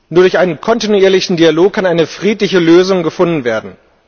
Nur durch einen kontinuierlichen Dialog kann eine friedliche Lösung gefunden werden.